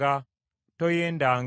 Toyendanga.